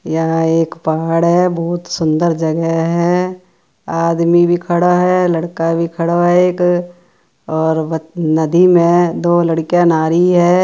यहां एक पहाड़ है बहुत सुंदर जगह हैं आदमी भी खड़ा है लड़का भी खड़ा हैं एक और नदी में दो लड़किया नहा रही हैं।